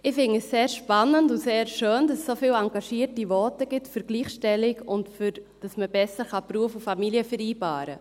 Ich finde es sehr spannend und sehr schön, dass es so viele engagierte Voten gibt für die Gleichstellung und dafür, dass man Beruf und Familie besser vereinbaren kann.